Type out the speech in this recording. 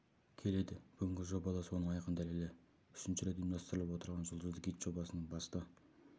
келеді бүгінгі жоба да соның айқын дәлелі үшінші рет ұйымдастырылып отырған жұлдызды гид жобасының басты